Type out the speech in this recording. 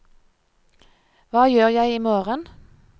hva gjør jeg imorgen